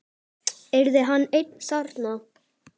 Yrði hann einn þarna?